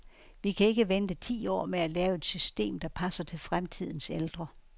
Vi kan ikke vente ti år med at lave et system, der passer til fremtidens ældre.